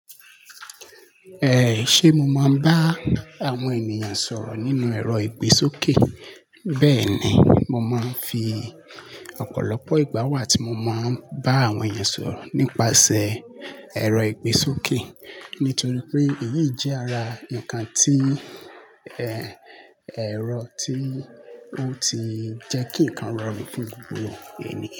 Eh, ṣe mo máa ń bá àwọn ènìyàn sọ̀rọ̀ nínú ẹ̀rọ ìgbésókè? Bẹ́ẹ̀ni, mo máa ń fi ọ̀pọ̀lọpọ̀ ìgbà wá tí mo máa ń bá àwọn ènìyàn sọ̀rọ̀ nípasẹ̀ ẹ̀rọ ìgbésókè. Nítorí pé èyí jẹ́ ara ǹkan tí, ẹ, ẹ̀rọ tí ó ti jẹ́ kí ǹkan rọrùn fún gbogbo ènìyàn.